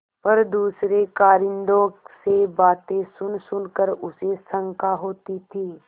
पर दूसरे कारिंदों से बातें सुनसुन कर उसे शंका होती थी